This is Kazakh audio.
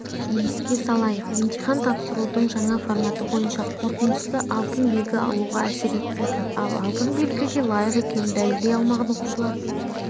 еске салайық емтихан тапсырудың жаңа форматы бойынша қорытындысы алтын белгі алуға әсер етпейді ал алтын белгіге лайық екенін дәлелдей алмаған оқушылар